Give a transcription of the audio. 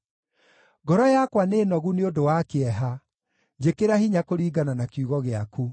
Ngoro yakwa nĩ nogu nĩ ũndũ wa kĩeha; njĩkĩra hinya kũringana na kiugo gĩaku.